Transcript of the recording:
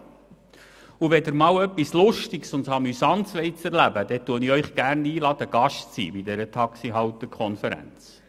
Wenn Sie einmal etwas Lustiges und Amüsantes erleben wollen, lade ich Sie gerne einmal dazu ein.